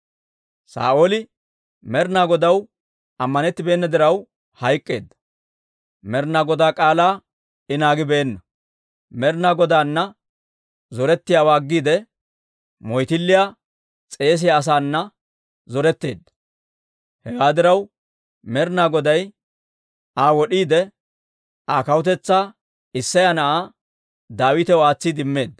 Saa'ooli Med'inaa Godaw ammanettibeenna diraw hayk'k'eedda. Med'inaa Godaa k'aalaa I naagibeenna; Med'inaa Godaana zorettiyaawaa aggiide, moyttilliyaa s'eesiyaa asaana zoretteedda. Hewaa diraw, Med'inaa Goday Aa wod'iide, Aa kawutetsaa Isseya na'aa Daawitaw aatsiide immeedda.